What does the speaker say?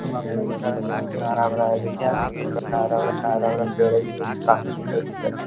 हम आपको दिखा रहे है देखिए कितना हरा भरा है। देखिये पेड़ है जो कि काफी सुन्दर दिखाई दे --